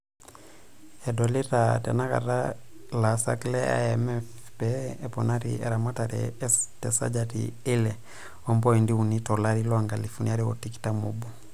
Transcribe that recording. "Edolita tenakata ilaasak le IMF pee eponari eramatare te sajati eile opointi uni to larii loonkalifuni are otikitam oobo.